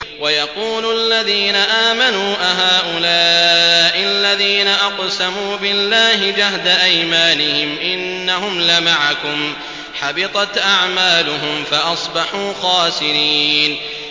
وَيَقُولُ الَّذِينَ آمَنُوا أَهَٰؤُلَاءِ الَّذِينَ أَقْسَمُوا بِاللَّهِ جَهْدَ أَيْمَانِهِمْ ۙ إِنَّهُمْ لَمَعَكُمْ ۚ حَبِطَتْ أَعْمَالُهُمْ فَأَصْبَحُوا خَاسِرِينَ